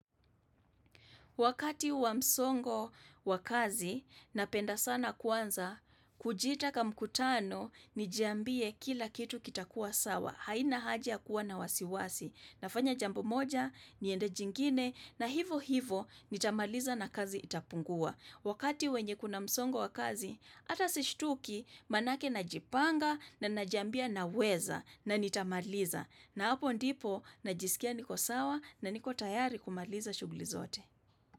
Wakati wa msongo wa kazi, napenda sana kwanza, kujiita kamkutano, nijiambie kila kitu kitakuwa sawa. Haina haja ya kuwa na wasiwasi. Nafanya jambo moja, niende jingine, na hivo hivo, nitamaliza na kazi itapungua. Wakati wenye kuna msongo wa kazi, ata sishtuki, maanake najipanga, na najambia naweza, na nitamaliza. Na hapo ndipo, najisikia niko sawa, na niko tayari kumaliza shughuli zote.